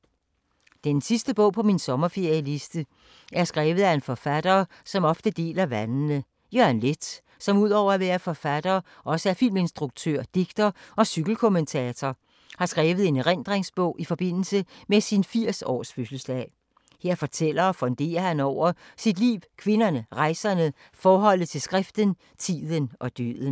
Den sidste bog på min sommerferie-liste er skrevet af en forfatter, som ofte deler vandene. Jørgen Leth, som udover at være forfatter også er filminstruktør, digter og cykelkommentator, har skrevet en erindringsbog i forbindelse med sin 80-års fødselsdag. Her fortæller og funderer han over sit liv, kvinderne, rejserne, forholdet til skriften, tiden og døden.